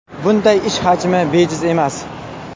Bunday ish hajmi bejiz emas.